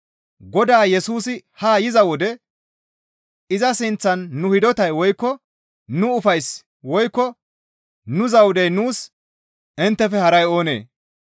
Godaa Yesusi haa yiza wode iza sinththan nu hidotay woykko nu ufayssi woykko nu zawudey nuus inttefe haray oonee?